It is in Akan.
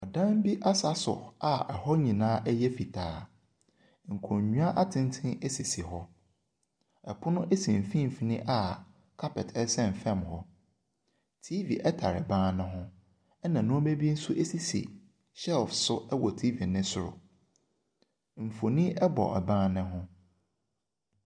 Ban bi asaso a hɔ nyinaa yɛ fitaa, nkonnwa atenten si hɔ, pono si mfimfin a carpet sɛn fam hɔ. TV tare ban ne ho, na nneɛma bi nso si shelf so wɔ TV ne soro, mfonin bɔ ban ne ho.